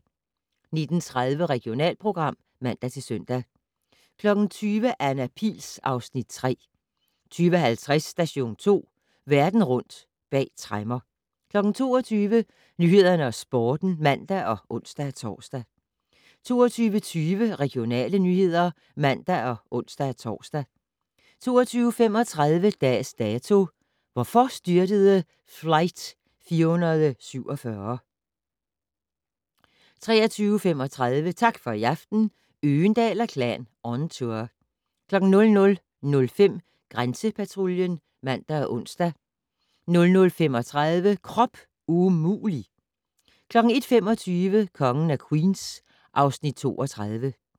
19:30: Regionalprogram (man-søn) 20:00: Anna Pihl (Afs. 3) 20:50: Station 2: Verden rundt bag tremmer 22:00: Nyhederne og Sporten (man og ons-tor) 22:20: Regionale nyheder (man og ons-tor) 22:35: Dags Dato: Hvorfor styrtede Flight 447? 23:35: Tak for i aften - Øgendahl & Klan on tour 00:05: Grænsepatruljen (man og ons) 00:35: Krop umulig! 01:25: Kongen af Queens (Afs. 32)